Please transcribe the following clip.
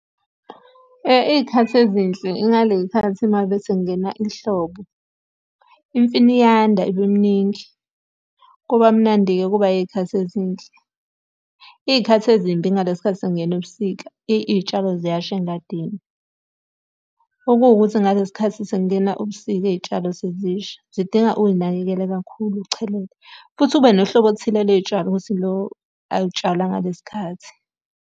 Iy'khathi ezinhle ingaley'khathi uma ngabe sekungena ihlobo. Imfino iyanda ibe miningi, kuba mnandi-ke kuba iy'khathi ezinhle. Iy'khathi ezimbi ingalesi khathi sekungena ubusika, iy'tshalo ziyasha engadini. Okuwukuthi ngalesi khathi sekungena ubusika iy'tshalo sezisha, zidinga uy'nakekele kakhulu uchelele. Futhi ube nohlobo oluthile ley'tshalo ukuthi lo alutshalwa ngalesi khathi.